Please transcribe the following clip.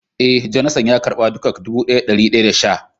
Eh, " Jonathan" ya karba dukak dubu daya da dari daya da sha.